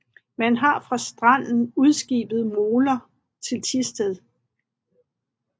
Man har fra stranden udskibet moler til Thisted